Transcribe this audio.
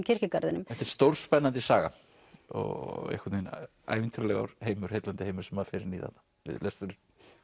kirkjugarðinum þetta er stórspennandi saga og einhvern veginn ævintýralegur heimur heillandi heimur sem maður fer inn í þarna við lesturinn